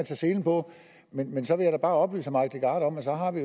selen på men men så vil jeg bare oplyse herre mike legarth om at så har vi